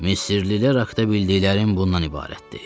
Misirlilər haqda bildiklərim bundan ibarətdir.